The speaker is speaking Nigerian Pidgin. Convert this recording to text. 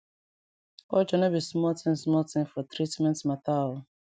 culture no be small tin small tin for treatment mata o